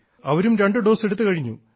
അവരും രണ്ടു ഡോസ് എടുത്തുകഴിഞ്ഞു